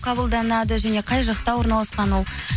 қабылданады және қай жақта орналасқан ол